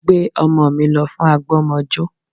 Gbé ọmọ mi lọ fún àgbọ́mọjó